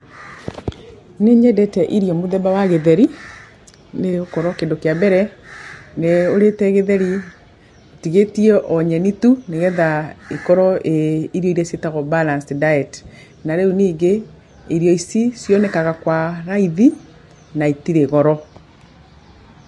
Nĩnyendete irio mũthemba wa gĩtheri, nĩgũkorwo kĩndũ kĩa mbere ũrĩte gĩtheri ũtigĩtie o nyeni tu nĩgetha ikorwo irĩ irio iria ciĩtagwo balanced diet. Na rĩu ningĩ irio ici cionekaga kwa raithi na itirĩ goro.